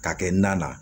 K'a kɛ na na